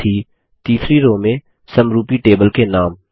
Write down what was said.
साथ ही तीसरी रो में समरूपी टेबल के नाम